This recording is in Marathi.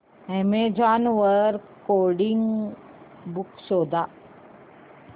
अॅमेझॉन वर कोडिंग बुक्स शोधा